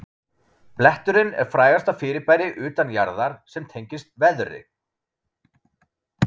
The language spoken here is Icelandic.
Bletturinn er frægasta fyrirbæri utan jarðar sem tengist veðri.